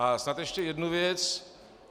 A snad ještě jednu věc.